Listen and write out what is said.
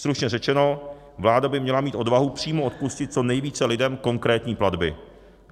Stručně řečeno, vláda by měla mít odvahu přímo odpustit co nejvíce lidem konkrétní platby.